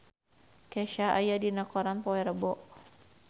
Kesha aya dina koran poe Rebo